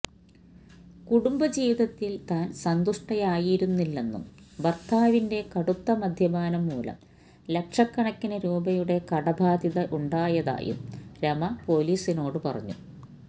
കുടുംബജീവിതത്തില് താന് സന്തുഷ്ടയായിരുന്നില്ലെന്നും ഭര്ത്താവിന്റെ കടുത്ത മദ്യപാനം മൂലം ലക്ഷക്കണക്കിന് രൂപയുടെ കടബാധ്യതയുണ്ടായതായും രമ പൊലിസിനോട് പറഞ്ഞു